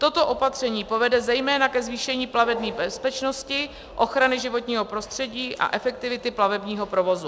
Toto opatření povede zejména ke zvýšení plavební bezpečnosti, ochrany životního prostředí a efektivity plavebního provozu.